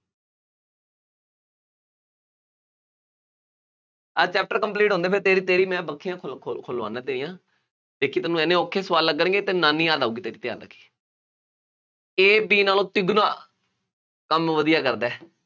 ਆਹ chapter complete ਹੋਣ ਦੇ, ਫੇਰ ਤੇਰੀ ਤੇਰੀ ਮੈਂ ਬੱਖੀਆਂ ਖੋਲ੍ਹਾਊ ਖੁੱਲਵਾਉਂਦਾ ਤੇਰੀਆਂ, ਦੇਖੀ ਤੈਨੂੰ ਐਨੇ ਔਖੇ ਸਵਾਲ ਲੱਗਣਗੇ, ਤੈਨੂੰ ਨਾਨੀ ਯਾਦ ਆਊਗੀ ਤੇਰੀ ਯਾਦ ਰੱਖੀਂ A, B ਨਾਲੋਂ ਤਿੱਗਣਾ ਕੰਮ ਵਧੀਆ ਕਰਦਾ ਹੈ।